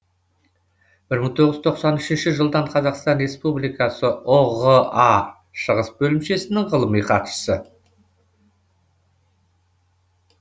бір мың тоғыз жүз тоқсан үшінші жылдан қазақстан республикасы ұға шығыс бөлімшесінің ғылыми хатшысы